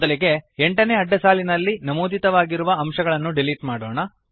ಮೊದಲಿಗೆ 8 ನೇ ಅಡ್ಡಸಾಲಿನಲ್ಲಿ ನಮೂದಿತವಾಗಿರುವ ಅಂಶಗಳನ್ನು ಡಿಲೀಟ್ ಮಾಡೋಣ